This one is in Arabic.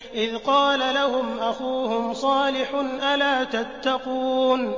إِذْ قَالَ لَهُمْ أَخُوهُمْ صَالِحٌ أَلَا تَتَّقُونَ